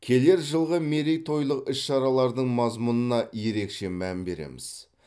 келер жылғы мерейтойлық іс шаралардың мазмұнына ерекше мән береміз